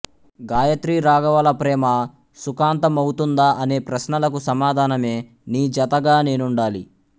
గాయత్రి రాఘవల ప్రేమ సుఖాంత మవుతుందా అనే ప్రశ్నలకు సమాధానమే నీజతగా నేనుండాలి